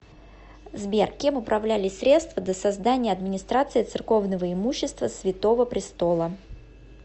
сбер кем управлялись средства до создания администрации церковного имущества святого престола